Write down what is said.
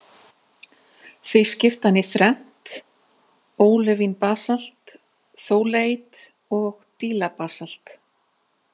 Því skipti hann í þrennt, ólivín-basalt, þóleiít og dílabasalt.